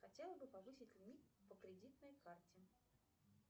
хотела бы повысить лимит по кредитной карте